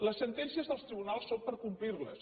les sentències dels tribunals són per complir les